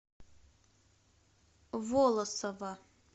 волосово